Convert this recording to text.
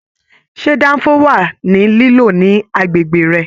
Ṣe danfo wà ní lilo ní agbègbè rẹ?